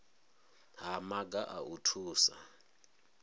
ha maga a u thusa